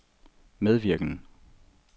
medvirkende